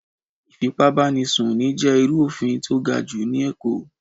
Ìfipá bá ni sùn ní jẹ́ irú òfin tó ga jù ní Èkó.